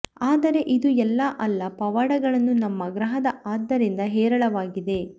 ಆದರೆ ಇದು ಎಲ್ಲ ಅಲ್ಲ ಪವಾಡಗಳನ್ನು ನಮ್ಮ ಗ್ರಹದ ಆದ್ದರಿಂದ ಹೇರಳವಾಗಿದೆ